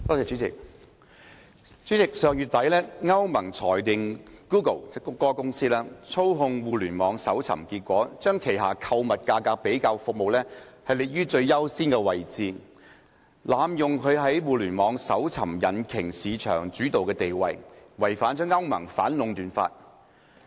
主席，上月底，歐盟裁定谷歌公司操控互聯網搜尋結果，將旗下購物價格比較服務列於最優先位置，濫用其在互聯網搜尋引擎市場主導地位，違反歐盟反壟斷法。